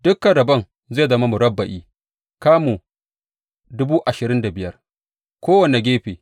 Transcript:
Dukan rabon zai zama murabba’i, kamu dubu ashirin da biyar kowane gefe.